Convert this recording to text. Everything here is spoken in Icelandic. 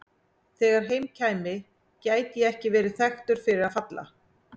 Þegar heim kæmi gæti ég ekki verið þekktur fyrir að falla.